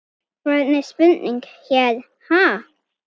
Hvernig spurning hér, ha?